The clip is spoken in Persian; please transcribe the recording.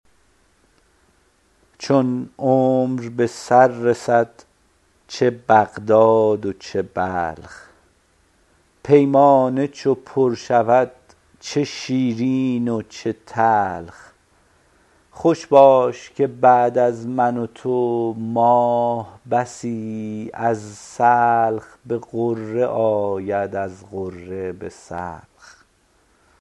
چون عمر به سر رسد چه بغداد چه بلخ پیمانه چو پر شود چه شیرین و چه تلخ خوش باش که بعد از من و تو ماه بسی از سلخ به غره آید از غره به سلخ